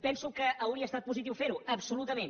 penso que hauria estat positiu fer ho absolutament